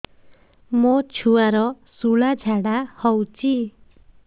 ମୋ ଛୁଆର ସୁଳା ଝାଡ଼ା ହଉଚି